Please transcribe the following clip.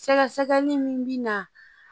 Sɛgɛsɛgɛli min bɛ na